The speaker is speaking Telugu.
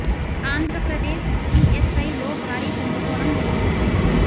ఆంధ్ర ప్రదేశ్ ఈఎస్ఐ లో భారీ కుంభకోణం వెలుగు చూసింది